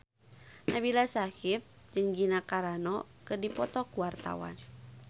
Nabila Syakieb jeung Gina Carano keur dipoto ku wartawan